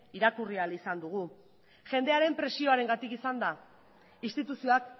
irakurri ahall izan dugu jendearen presioarengatik izan da instituzioak